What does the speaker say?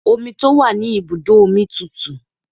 Omi tó wà ní ibùdó omi tùtù.